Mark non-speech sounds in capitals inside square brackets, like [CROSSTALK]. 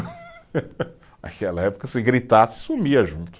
[LAUGHS] Aquela época, se gritasse, sumia junto.